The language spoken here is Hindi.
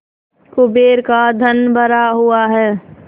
कुबेर का धन भरा हुआ है